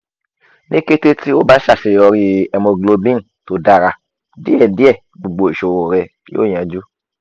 ni kete ti o ba ṣaṣeyọri haemoglobin to dara diẹdiẹ gbogbo iṣoro rẹ yoo yanju